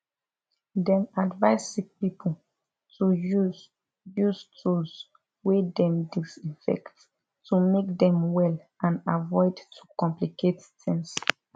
dem advise sick pipo to use use tools wey dem disinfect to make dem well and avoid to complicate tings